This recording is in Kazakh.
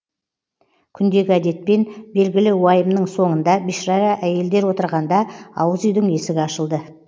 күндегі әдетпен белгілі уайымның соңында бишара әйелдер отырғанда ауыз үйдің есігі ашылды